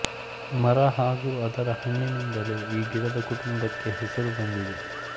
ಮರ ಹಾಗೂ ಅದರ ಹಣ್ಣಿನಿಂದಲೇ ಈ ಗಿಡದ ಕುಟುಂಬಕ್ಕೆ ಹೆಸರು ಬಂದಿದೆ